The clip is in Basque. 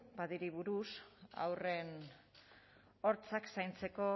padi buruz haurren hortzak zaintzeko